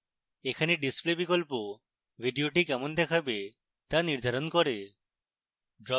এখানে display বিকল্প video কেমন দেখাবে the নির্ধারণ করে